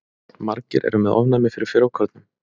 Margir eru með ofnæmi fyrir frjókornum.